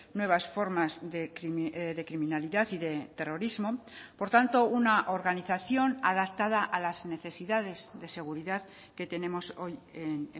nuevas formas de criminalidad y de terrorismo por tanto una organización adaptada a las necesidades de seguridad que tenemos hoy en